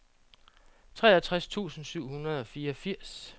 treogtres tusind syv hundrede og fireogfirs